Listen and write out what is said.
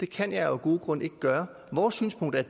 kan jeg jo af gode grunde ikke gøre vores synspunkt er